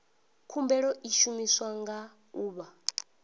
khumbelo i shumiwa nga ḓuvha